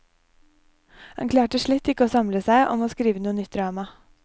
Han klarte slett ikke å samle seg om å skrive noe nytt drama.